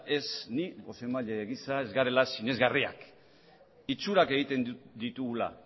ez ni bozeramaile gisa ez garela sinesgarriak itxurak egiten ditugula